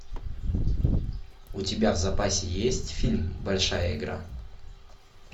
у тебя в запасе есть фильм большая игра